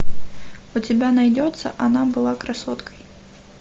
у тебя найдется она была красоткой